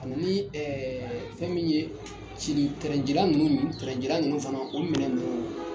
Ani ɛɛ fɛn min ye cili tɛrɛncilan ninnu fana , o minɛ ninnu